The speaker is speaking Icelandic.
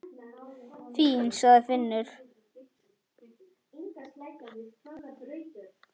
Fínn, sagði Finnur.